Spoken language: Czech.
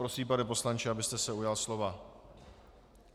Prosím, pane poslanče, abyste se ujal slova.